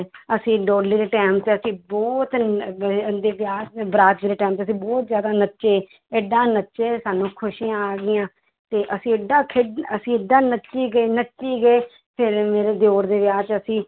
ਅਸੀਂ ਡੋਲੀ ਦੇ time ਤੇ ਅਸੀਂ ਬਹੁਤ ਵਿਆਹ 'ਚ ਦੇ time ਤੇ ਅਸੀਂ ਬਹੁਤ ਜ਼ਿਆਦਾ ਨੱਚੇ, ਏਦਾਂ ਨੱਚੇ ਸਾਨੂੰ ਖ਼ੁਸ਼ੀਆਂ ਆ ਗਈਆਂ, ਤੇ ਅਸੀਂ ਏਡਾ ਖੇ~ ਅਸੀਂ ਏਦਾਂ ਨੱਚੀ ਗਏ, ਨੱਚੀ ਗਏ, ਫਿਰ ਮੇਰੇ ਦਿਓਰ ਦੇ ਵਿਆਹ 'ਚ ਅਸੀਂ